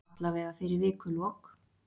Allavega fyrir vikulok.